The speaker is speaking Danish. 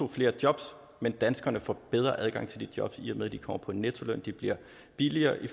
flere jobs men danskerne får bedre adgang til de jobs i og med at de kommer på en nettoløn de bliver billigere i